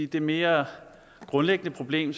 det mere grundlæggende problem